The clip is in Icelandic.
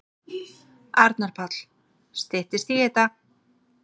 Arnar Páll: Styttist í þetta.